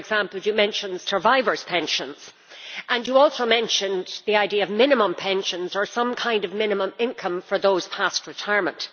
For example, you mentioned survivors' pensions and also the idea of minimum pensions or some kind of minimum income for those past retirement.